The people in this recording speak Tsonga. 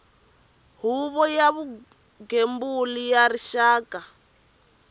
huvo ya vugembuli bya rixaka